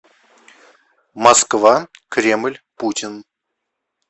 москва кремль путин